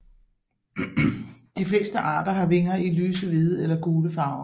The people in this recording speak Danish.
De fleste arter har vinger i lyse hvide eller gule farver